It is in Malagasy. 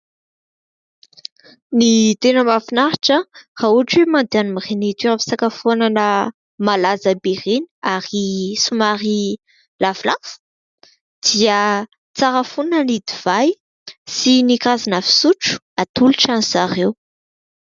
ny tena mahafinaritra raha ohatra hoe mandeha any amiin'reny toeram-pisakafoanana malaza ireny ary somary lafolafo dia tsara foana ny divay sy ny karazana fisotro atolotra an'izareo